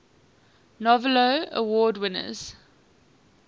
novello award winners